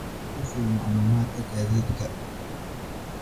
i sii macluumaadka gaadiidka